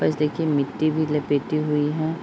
बस देखिए मिट्टी भी लपेटी हुई हैं।